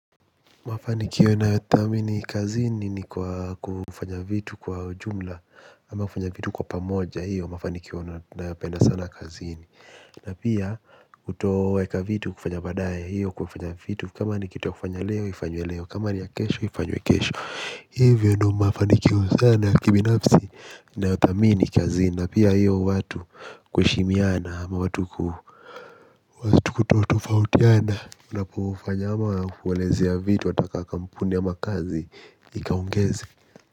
Mafanikio nayothamini kazini ni kwa kufanya vitu kwa jumla. Ama kufanya vitu kwa pamoja hiyo mafanikio ndio nayapenda sana kazini. Na pia kutoweka vitu kufanya baadaye hiyo kufanya vitu kama ni kitu ya kufanya leo ifanywe leo kama ni ya kesho ifanywe kesho. Hivyo ndio mafanikio chanya ya kibinafsi nayathamini kazini. Na pia hiyo watu kuheshimiana ama watu kuto tofautiana. Unapo ufanyama, kuwelezea vitu, ata ka kampuni ama kazi, ikaongeze.